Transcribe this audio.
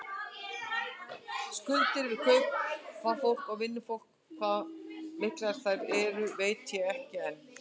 Skuldir við kaupafólk og vinnufólk, hvað miklar þær eru veit ég ekki enn.